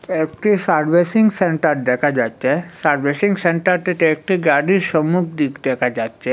একটি servicing centre দেখা যাচ্ছে সার্ভিসিং সেন্টারটিতে একটি গাড়ির সম্মুখ দিক দেখা যাচ্ছে।